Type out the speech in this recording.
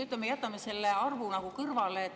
Aga jätame selle arvu kõrvale.